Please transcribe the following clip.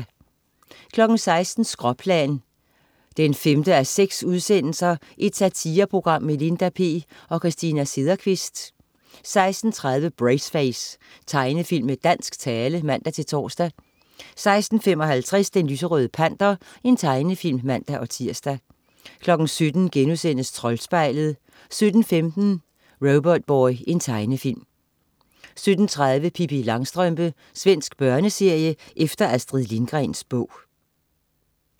16.00 Skråplan 5:6. Satireprogram med Linda P og Christina Sederkvist 16.30 Braceface. Tegnefilm med dansk tale (man-tors) 16.55 Den lyserøde Panter. Tegnefilm (man-tirs) 17.00 Troldspejlet* 17.15 Robotboy. Tegnefilm 17.30 Pippi Langstrømpe. Svensk børneserie efter Astrid Lindgrens bog